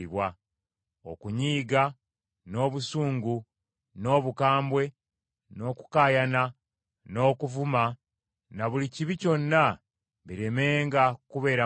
Okunyiiga, n’obusungu, n’obukambwe, n’okukaayana, n’okuvuma, na buli kibi kyonna, biremenga kubeera mu mmwe.